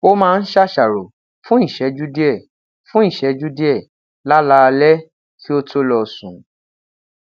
o maa n ṣaṣaro fun iṣẹju diẹ fun iṣẹju diẹ lalaalẹ ki o to lọ sun